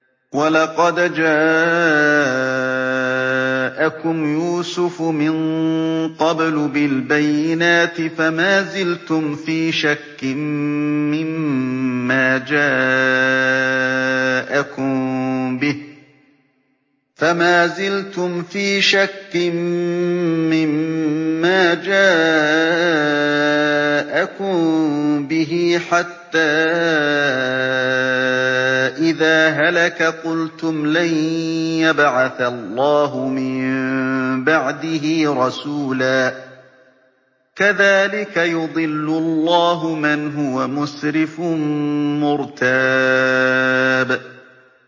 وَلَقَدْ جَاءَكُمْ يُوسُفُ مِن قَبْلُ بِالْبَيِّنَاتِ فَمَا زِلْتُمْ فِي شَكٍّ مِّمَّا جَاءَكُم بِهِ ۖ حَتَّىٰ إِذَا هَلَكَ قُلْتُمْ لَن يَبْعَثَ اللَّهُ مِن بَعْدِهِ رَسُولًا ۚ كَذَٰلِكَ يُضِلُّ اللَّهُ مَنْ هُوَ مُسْرِفٌ مُّرْتَابٌ